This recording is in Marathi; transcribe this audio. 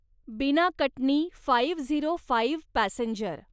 बिना Katni five zero five passenger